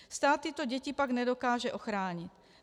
Stát tyto děti pak nedokáže ochránit.